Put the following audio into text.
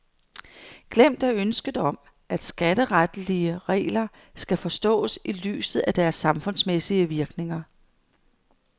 Glemt er ønsket om, at skatteretlige regler skal forstås i lyset af deres samfundsmæssige virkninger.